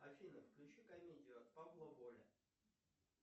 афина включи комедию от павла воли